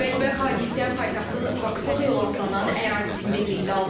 Bədbəxt hadisə paytaxtın Baksol yolu adlanan ərazisində qeydə alınıb.